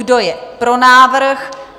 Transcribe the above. Kdo je pro návrh?